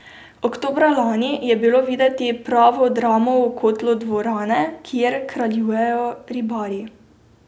Oktobra lani je bilo videti pravo dramo v kotlu dvorane, kjer kraljujejo Ribari.